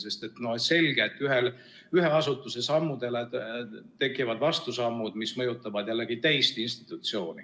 Sest on selge, et ühe asutuse sammudele tekivad vastusammud, mis mõjutavad jällegi teist institutsiooni.